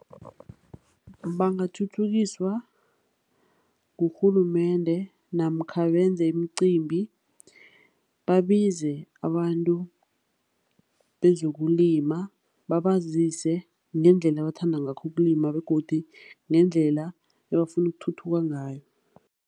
Bangathuthukiswa ngurhulumende namkha benze imicimbi babize abantu bezokulima babazise ngendlela abathanda ngakho ukulima begodu ngendlela ebafuna ukuthuthuka ngayo.